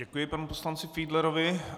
Děkuji panu poslanci Fiedlerovi.